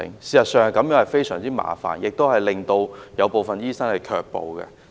事實上，這種做法非常麻煩，亦令部分醫生卻步。